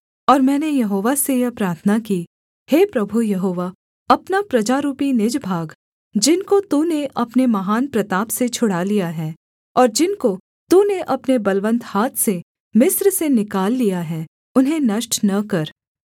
और मैंने यहोवा से यह प्रार्थना की हे प्रभु यहोवा अपना प्रजारूपी निज भाग जिनको तूने अपने महान प्रताप से छुड़ा लिया है और जिनको तूने अपने बलवन्त हाथ से मिस्र से निकाल लिया है उन्हें नष्ट न कर